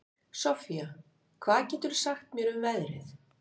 Soffía, hvað geturðu sagt mér um veðrið?